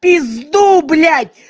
пизду блять